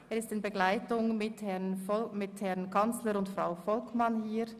Er ist in Begleitung des Herrn Kanzlers und Frau Volkmann hier.